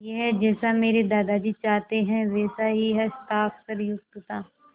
यह जैसा मेरे दादाजी चाहते थे वैसा ही हस्ताक्षरयुक्त था